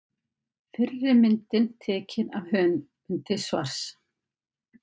Myndir: Fyrri mynd: Tekin af höfundi svars.